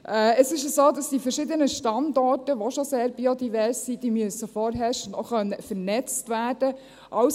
Es ist so, dass die verschiedenen Standorte, die schon sehr biodivers sind, vorherrschend auch vernetzt werden können müssen.